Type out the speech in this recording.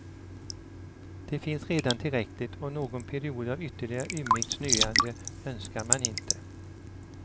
Det finns redan tillräckligt och någon period av ytterligare ymnigt snöande önskar man inte.